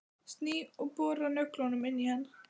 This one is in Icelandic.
Sný og bora nöglunum inn í hann.